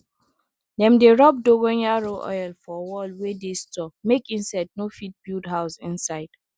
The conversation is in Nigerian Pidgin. dem dey rub dongoyaro oil for wall wey dey store make insect no fit build house inside